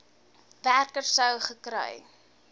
werker sou gekry